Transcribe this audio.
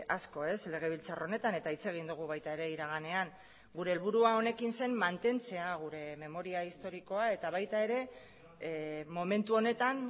asko legebiltzar honetan eta hitz egin dugu baita iraganean ere gure helburua honekin zen mantentzea gure memoria historikoa eta baita